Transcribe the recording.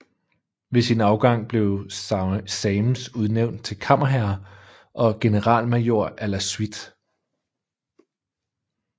Ved sin afgang blev Sames udnævnt til kammerherre og generalmajor à la suite